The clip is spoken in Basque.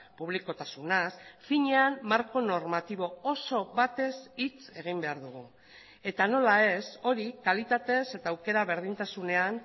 publikotasunaz finean marko normatibo oso batez hitz egin behar dugu eta nola ez hori kalitatez eta aukera berdintasunean